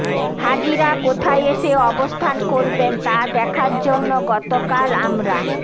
হাজিরা কোথায় এসে অবস্থান করবেন তা দেখার জন্য গতকাল আমরা